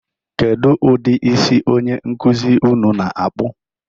Kedu ụdị isi onye nkụzi unu na-akpụ?